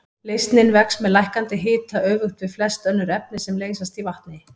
Leysnin vex með lækkandi hita öfugt við flest önnur efni sem leysast í vatni.